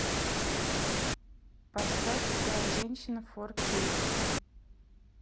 поставь другая женщина фор кей